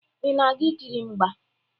Ị na-aga ikiri mgba?